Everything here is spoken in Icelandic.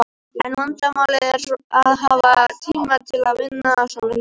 En vandamálið er að hafa tíma til að vinna svona hluti.